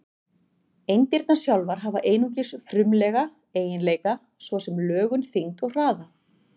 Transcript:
Eindirnar sjálfar hafa einungis frumlega eiginleika, svo sem lögun, þyngd og hraða.